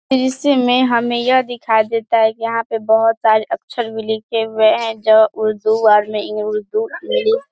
इसमें हमें यह दिखाई देता है कि यहाँ पे बोहोत सारे अक्षर भी लिखे हुए है जो उर्दू